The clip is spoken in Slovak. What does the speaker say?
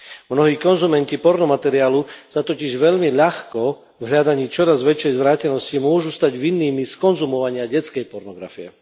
Mnohí konzumenti porno materiálu sa totiž veľmi ľahko, v hľadaní čoraz väčšej zvrátenosti, môžu stať vinnými z konzumovania detskej pornografie.